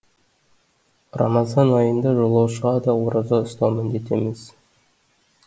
рамазан айында жолаушыға да ораза ұстау міндет емес